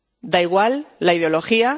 Da igual la ideología.